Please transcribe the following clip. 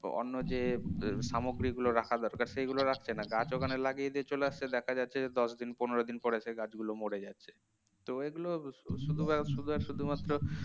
অন্য যে সামগ্রীগুলো রাখা দরকার সেগুলি রাখছে না গাছ ওখানে লাগিয়ে দিয়ে চলে আসছে দেখা যাচ্ছে যে দশ দিন পনের দিন পরে সেই গাছগুলো মরে যাচ্ছে তো এগুলো শুধুশুধুশুধুমাত্র